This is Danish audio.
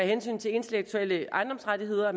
hensyn til intellektuelle ejendomsrettigheder